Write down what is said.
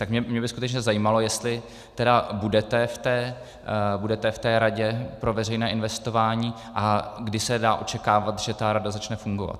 Tak mě by skutečně zajímalo, jestli tedy budete v té radě pro veřejné investování a kdy se dá očekávat, že ta rada začne fungovat.